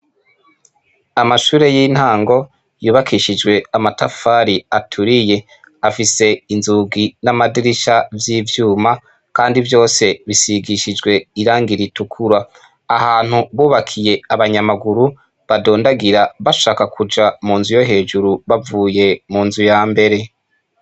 Amashure y'intango yubakishijwe amatafari aturiye, afise inzugi n'amadirisha vy'ivyuma kandi vyose bisigishijwe irangi ritukura. Ahantu bubakiye abanyamaguru badondagira bashaka kuja mu nzu yo hejuru bavuye mu nzu ya mbere.